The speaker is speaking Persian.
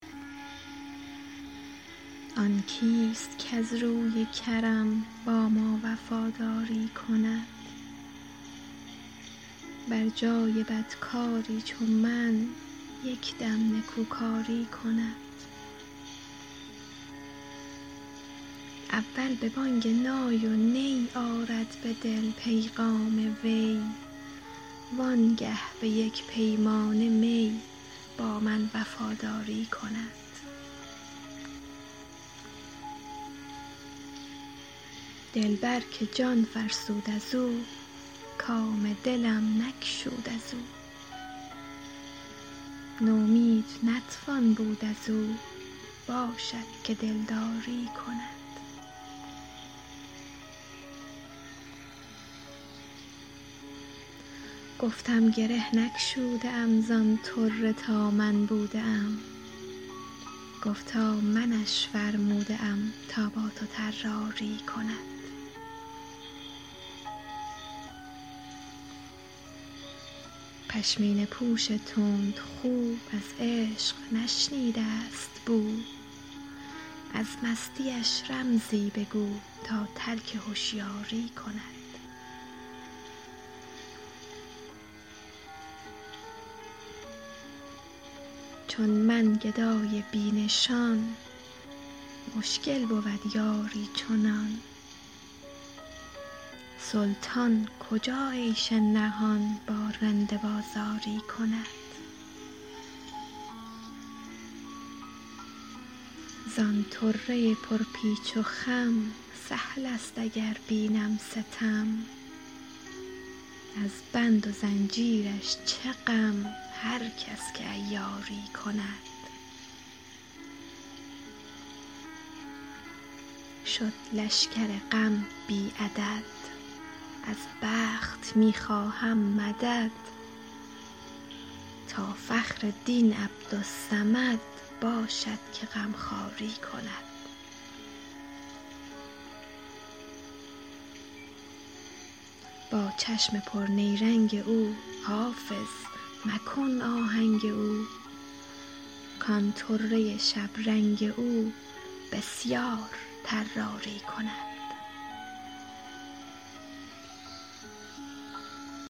آن کیست کز روی کرم با ما وفاداری کند بر جای بدکاری چو من یک دم نکوکاری کند اول به بانگ نای و نی آرد به دل پیغام وی وانگه به یک پیمانه می با من وفاداری کند دلبر که جان فرسود از او کام دلم نگشود از او نومید نتوان بود از او باشد که دلداری کند گفتم گره نگشوده ام زان طره تا من بوده ام گفتا منش فرموده ام تا با تو طراری کند پشمینه پوش تندخو از عشق نشنیده است بو از مستیش رمزی بگو تا ترک هشیاری کند چون من گدای بی نشان مشکل بود یاری چنان سلطان کجا عیش نهان با رند بازاری کند زان طره پرپیچ و خم سهل است اگر بینم ستم از بند و زنجیرش چه غم هر کس که عیاری کند شد لشکر غم بی عدد از بخت می خواهم مدد تا فخر دین عبدالصمد باشد که غمخواری کند با چشم پرنیرنگ او حافظ مکن آهنگ او کان طره شبرنگ او بسیار طراری کند